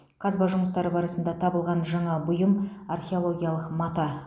қазба жұмыстары барысында табылған жаңа бұйым археологиялық мата